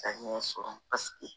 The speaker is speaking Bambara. Ka ɲɛ sɔrɔ paseke